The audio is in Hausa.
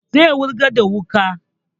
Zai wurgar da wukan